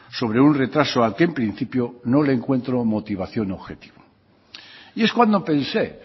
sobre un retraso al que en principio no le encuentro motivación objetiva y es cuando pensé